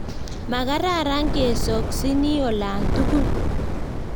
Makararan kesoksiini olatugul